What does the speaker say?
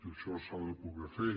això s’ha de poder fer